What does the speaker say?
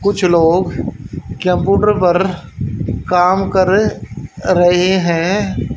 कुछ लोग कॅम्प्यूटर पर काम कर रहें हैं।